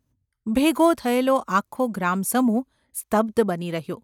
ભેગો થયેલો આખો ગ્રામસમૂહ સ્તબ્ધ બની રહ્યો.